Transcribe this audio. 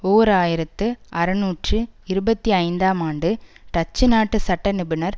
ஓர் ஆயிரத்து அறுநூற்று இருபத்தி ஐந்தாம் ஆண்டு டச்சுநாட்டு சட்ட நிபுணர்